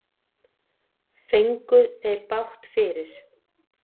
Fengu þeir bágt fyrir.